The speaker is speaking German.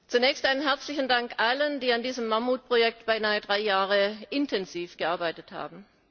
Zunächst einen herzlichen Dank allen, die an diesem Mammutprojekt beinahe drei Jahre intensiv gearbeitet haben.